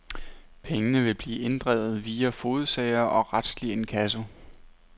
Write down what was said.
Pengene vil blive inddrevet via fogedsager og retslig inkasso.